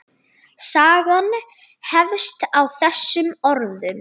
Sagan hefst á þessum orðum